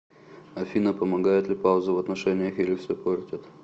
афина помогают ли паузы в отношениях или все портят